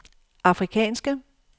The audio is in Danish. afrikanske